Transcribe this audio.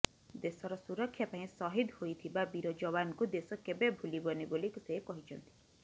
ଦେଶର ସୁରକ୍ଷା ପାଇଁ ଶହୀଦ ହୋଇଥିବା ବୀର ଯବାନଙ୍କୁ ଦେଶ କେବେ ଭୁଲିବନି ବୋଲି ସେ କହିଛନ୍ତି